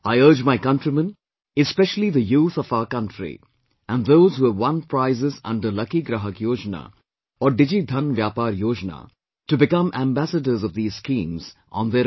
I urge my countrymen, especially the youth of our country and those who have won prizes under 'Lucky Grahak Yojana' or 'DigiDhan Vyapar Yojana' to become ambassadors of these schemes on their own